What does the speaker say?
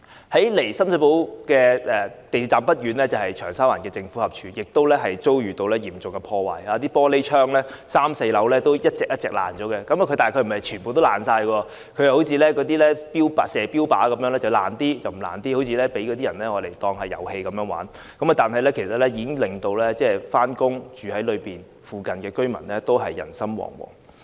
距離深水埗港鐵站不遠的長沙灣政府合署亦遭受嚴重破壞 ，3 樓和4樓的玻璃窗被毀，但又並非全部破裂，而是像標靶般，一些破裂了，一些則沒有，好像被人當作是玩遊戲，但已經令在那裏上班或在附近居住的市民人心惶惶。